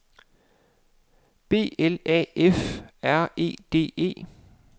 B L A F R E D E